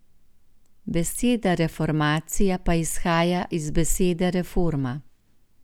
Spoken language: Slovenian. Beseda reformacija pa izhaja iz besede reforma.